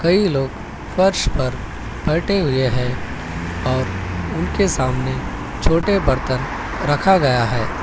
कई लोग फर्श पर बैठे हुए है और उनके सामने छोटे बर्तन रखा गया है।